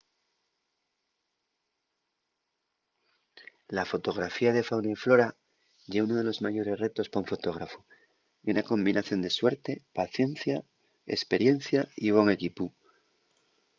la fotografía de fauna y flora ye unu de los mayores retos pa un fotógrafu ye una combinación de suerte paciencia esperiencia y bon equipu